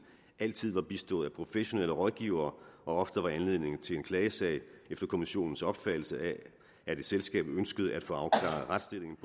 altid var bistået af professionelle rådgivere og ofte var anledningen til en klagesag efter kommissionens opfattelse at et selskab ønskede at få afklaret retsstillingen